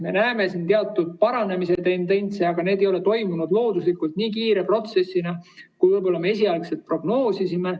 Me näeme siin teatud paranemise tendentsi, aga see ei ole toimunud looduslikult nii kiire protsessina, kui me võib-olla esialgu prognoosisime.